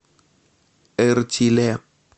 эртиле